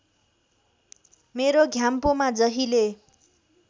मेरो घ्याम्पोमा जहिले